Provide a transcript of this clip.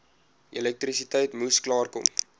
elektrisiteit moes klaarkom